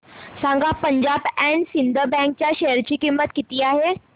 सांगा Punjab and Sind bank च्या share ची किंमत किती आहे